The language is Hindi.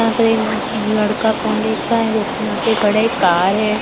यहां पर एक लड़का फोन देख रहा है दो तीन लड़के खड़े एक कार है।